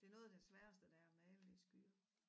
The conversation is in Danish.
Det noget af det sværeste det er at male i skyer